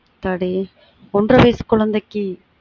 ஆத்தாடி ஒன்ற வயசு குழந்தைக்கு